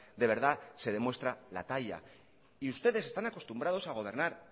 de verdad se demuestra la talla y ustedes están acostumbrados a gobernar